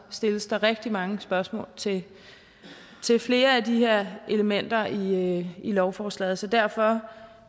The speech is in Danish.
stilles der rigtig mange spørgsmål til flere af de her elementer i lovforslaget så derfor